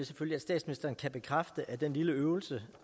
selvfølge at statsministeren kan bekræfte at den lille øvelse